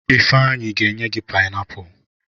Ifeanyi ga enye gi painiapulu.